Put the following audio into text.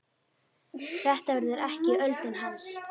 Þetta verður ekki öldin hans.